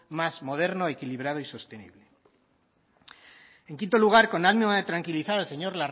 más moderno equilibrado y sostenible en quinto lugar con ánimo de tranquilizar al señor